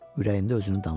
Ürəyində özünü danladı.